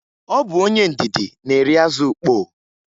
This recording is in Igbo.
Ọ bụ onye ndidi na-eri azụ ukpoo.